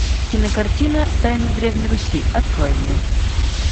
кинокартина тайны древней руси открой мне